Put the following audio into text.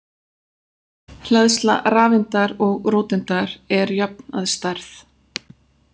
Hleðsla rafeindar og róteindar er jöfn að stærð.